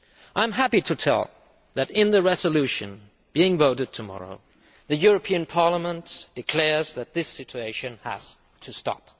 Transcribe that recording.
I am happy to tell you that in the resolution being voted tomorrow the European Parliament declares that this situation has to stop.